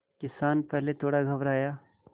किसान पहले थोड़ा घबराया